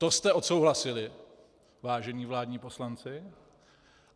To jste odsouhlasili, vážení vládní poslanci.